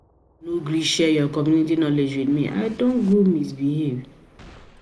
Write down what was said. know gree share your community knowledge with me, I don go misbehave